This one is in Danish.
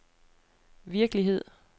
virkelighed